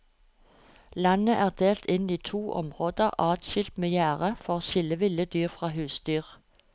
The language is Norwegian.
Landet er delt inn i to områder adskilt med gjerde for å skille ville dyr fra husdyr.